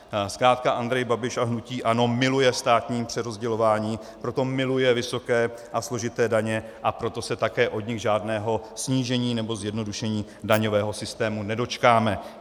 Zkrátka Andrej Babiš a hnutí ANO miluje státní přerozdělování, proto miluje vysoké a složité daně, a proto se také od nich žádného snížení nebo zjednodušení daňového systému nedočkáme.